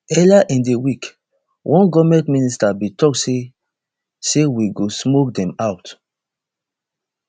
earlier in di week one goment minister bin tok say say we go smoke dem out